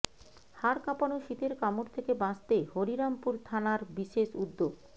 হাড়কাঁপানো শীতের কামড় থেকে বাঁচতে হরিরামপুর থানার বিশেষ উদ্যোগ